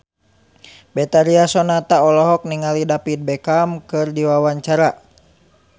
Betharia Sonata olohok ningali David Beckham keur diwawancara